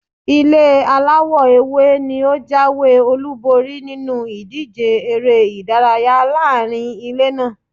Ilé aláwọ̀ ewé ni ó jáwé-olúborí nínú ìdíje èrè-ìdárayá laarin ilé naa.